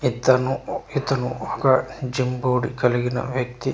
ఇ తను ఇతను ఒక జిమ్ బాడీ కలిగిన వ్యక్తి.